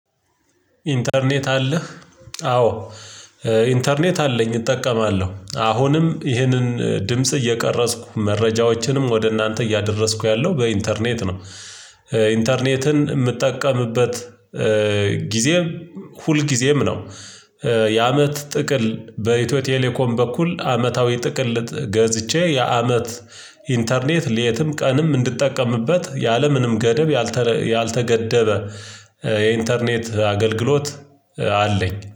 ኢንተርኔት አለህ? አዎ። ኢንተርኔት አለኝ እጠቀማለሁ አሁንም ይህንን ድምጽ እየቀረጽኩ መረጃዎችንም ወደ እናንተ እያደረስኩ ያለው በኢንተርኔት ነው። ኢንተርኔትን የምትጠቀምበት ጊዜ ሁልጊዜም ነው። የአመት ጥቅል በኢትዮ ቴሌኮም በኩል አመታዊ ጥቅል ገዝቼ የአመት ኢንተርኔት ሌትም ቀንም እንድጠቀምበት ያለምንም ገደብ ያልተገደበ የኢንተርኔት አገልግሎት አለኝ